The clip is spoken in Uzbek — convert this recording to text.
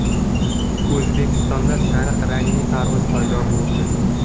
O‘zbekistonda sariq rangli tarvuz paydo bo‘ldi.